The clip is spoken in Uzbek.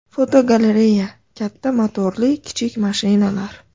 Fotogalereya: Katta motorli kichik mashinalar.